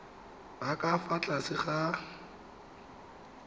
ba ka fa tlase ga